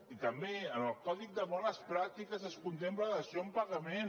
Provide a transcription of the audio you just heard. i també en el codi de bones pràctiques es contempla la dació en pagament